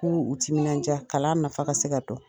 K'u timinandiya kalan nafa ka se ka